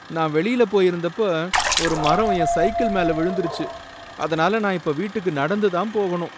நான் வெளியில போயிருந்தப்ப ஒரு மரம் என் சைக்கிள் மேல விழுந்துடுச்சு, அதனால நான் இப்ப வீட்டுக்கு நடந்து தான் போகணும்.